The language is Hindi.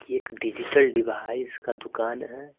कि एक डिजिटल डिवाइस का दुकान है।